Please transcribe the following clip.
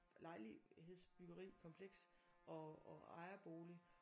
Lejligheds byggeri kompleks og og ejerbolig